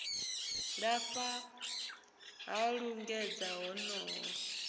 lafha ha u lingedza honoho